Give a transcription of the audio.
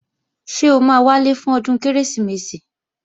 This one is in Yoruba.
Ṣé o máa wálé fún ọdún Kérésìmesì?